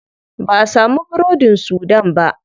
Ba'a samu burodin sudan ba.